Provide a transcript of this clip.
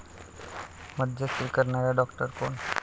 मध्यस्थी करणारा डॉक्टर कोण?